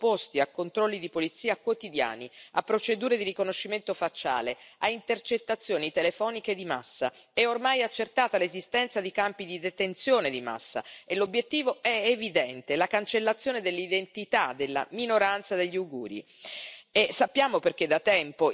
Gli abitanti dello Xi'an sono sottoposti a controlli di polizia quotidiani, a procedure di riconoscimento facciale, a intercettazioni telefoniche di massa, è ormai accertata l'esistenza di campi di detenzione di massa, e l'obiettivo è evidente, la cancellazione dell'identità della minoranza degli uiguri.